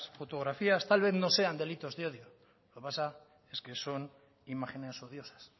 fotografías tal vez no sean delitos de odio lo que pasa es que son imágenes odiosas